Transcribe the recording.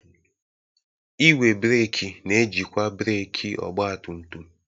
Igwe breeki na-ejikwa breeki ọgba tum tum.